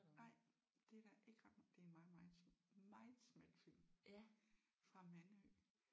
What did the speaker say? Nej det er der ikke ret det er en meget meget meget smal film fra Mandø